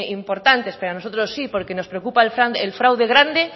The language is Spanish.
importantes pero a nosotros sí porque nos preocupa el fraude grande